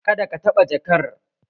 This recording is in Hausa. Kada ki taɓa jakar!